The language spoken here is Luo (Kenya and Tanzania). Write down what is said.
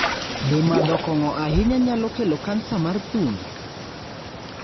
Be madho kong'o ahinya nyalo kelo kansa mar thuno?